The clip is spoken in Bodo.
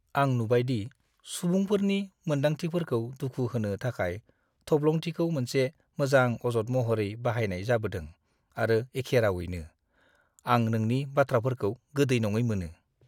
आं नुबाय दि सुबुंफोरनि मोन्दांथिफोरखौ दुखु होनो थाखाय थब्लंथिखौ मोनसे मोजां अजद महरै बाहायनाय जाबोदों आरो एखे रावैनो, आं नोंनि बाथ्राफोरखौ गोदै नङै मोनो।